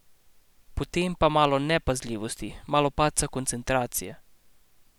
Potem pa malo nepazljivosti, malo padca koncentracije ...